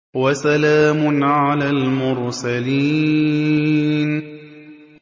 وَسَلَامٌ عَلَى الْمُرْسَلِينَ